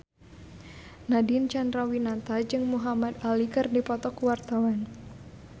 Nadine Chandrawinata jeung Muhamad Ali keur dipoto ku wartawan